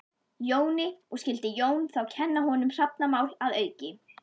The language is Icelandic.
Jóni, og skyldi Jón þá kenna honum hrafnamál að auki.